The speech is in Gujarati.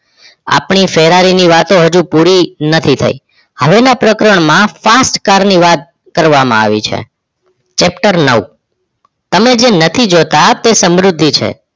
આપણ ફરારીનો વાત હજી પૂરી નથી થઈ હવે ના પ્રકરણમા fast car ની વાત કરવામાં આવી છ Chapter નવ તમે નથી જોતાં એ સમૃદ્ધિ છે